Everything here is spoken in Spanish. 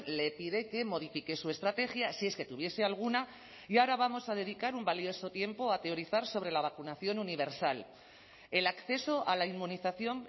le pide que modifique su estrategia si es que tuviese alguna y ahora vamos a dedicar un valioso tiempo a teorizar sobre la vacunación universal el acceso a la inmunización